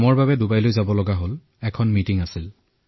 কামৰ বাবে ডুবাইলৈ গৈছিলো সন্মিলন এখনত অংশগ্ৰহণ কৰিবলৈ